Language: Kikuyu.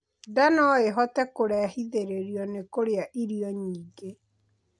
Ndaa noĩhote kurehithiririo ni kurĩa irio nyingĩ